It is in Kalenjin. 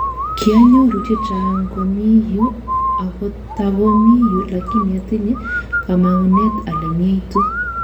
Kianyoru chechaang komi yu ako tago mi yu lakini atinye kamang'unet ale myeitu